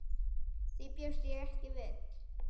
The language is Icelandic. Því bjóst ég ekki við.